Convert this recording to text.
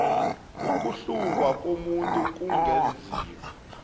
ukuhlungwa komuntu kungenziwa